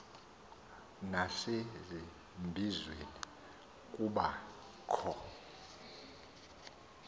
nasezimbizweni kuba kho